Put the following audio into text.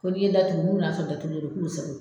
Ko ni ye datugu, nun nana sɔrɔ datugulen do k'u sago.